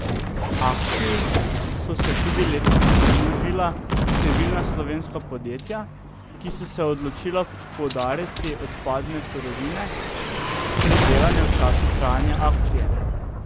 Akciji so se tudi letos pridružila številna slovenska podjetja, ki so se odločila podariti odpadne surovine, pridelane v času trajanja akcije.